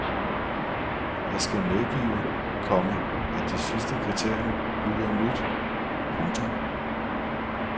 Jeg skal medgive, komma at det sidste kriterium lyder nyt. punktum